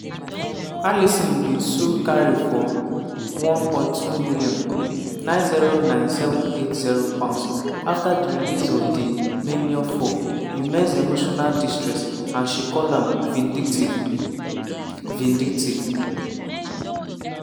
alison bin sue carey for $1.2m (£909780) afta di release of di memoir for "immense emotional distress" and she call am "vindictive". "vindictive".